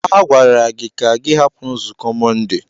A gwara gị na gị hapụ nzukọ Mọnde.